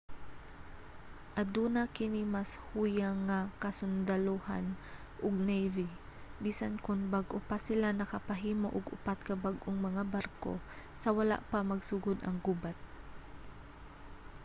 aduna kini mas huyang nga kasundalohan ug navy bisan kon bag-o pa sila nakapahimo og upat ka bag-ong mga barko sa wala pa magsugod ang gubat